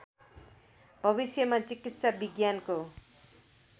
भविष्यमा चिकित्सा विज्ञानको